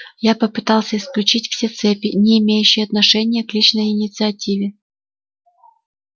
я попытался исключить все цепи не имеющие отношения к личной инициативе